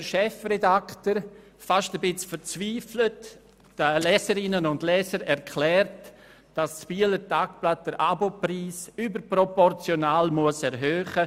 Darauf erklärt der Chefredaktor den Leserinnen und Lesern – fast ein wenig verzweifelt –, das «Bieler Tagblatt» müsse den Abo-Preis überproportional erhöhen.